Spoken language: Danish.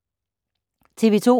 TV 2